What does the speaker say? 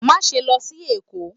Maṣe lọ sí Èko!